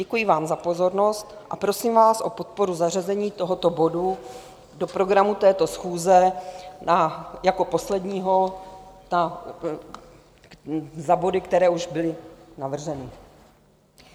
Děkuji vám za pozornost a prosím vás o podporu zařazení tohoto bodu do programu této schůze jako posledního za body, které už byly navrženy.